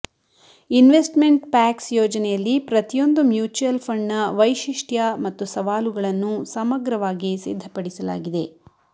investment packs ಯೋಜನೆಯಲ್ಲಿ ಪ್ರತಿಯೊಂದು mutual ಫಂಡ್ನ ವೈಶಿಷ್ಟ್ಯ ಮತ್ತು ಸವಾಲುಗಳನ್ನು ಸಮಗ್ರವಾಗಿ ಸಿದ್ಧಪಡಿಸಲಾಗಿದೆ